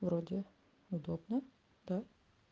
вроде удобно да